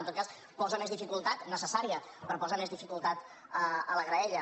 en tot cas hi posa més dificultat necessària però posa més dificultat a la graella